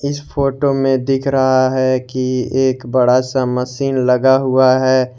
इस फोटो में दिख रहा है कि एक बड़ा सा मसीन मशीन लगा हुआ है।